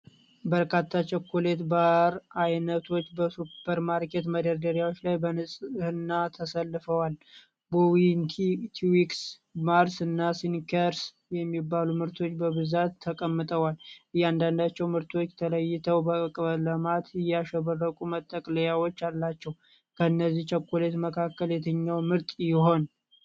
በርካታ ቸኮሌት ባር አይነቶች በሱፐርማርኬት መደርደሪያዎች ላይ በንጽህና ተሰልፈዋል። ቦውንቲ፣ ትዊክስ፣ ማርስ እና ስኒከርስ የሚባሉ ምርቶች በብዛት ተቀምጠዋል። እያንዳንዳቸው ምርቶች ተለይተው በቀለማት ያሸበረቁ መጠቅለያዎች አላቸው። ከነዚህ ቸኮሌቶች መካከል የትኛው ምርጥ ይሆን?